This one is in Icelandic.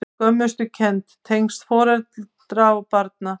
Skömmustukennd- tengsl foreldra og barna